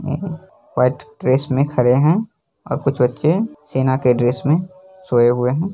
यहाँ white dress में खड़े हैं और कुछ बच्चे सेना के ड्रेस में सोये हुए हैं ।